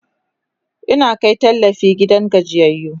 Ina Kai tallafi gidan gajiyayyu